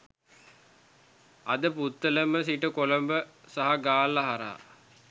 අදපුත්තලම සිට කොළඹ සහ ගාල්ල හරහා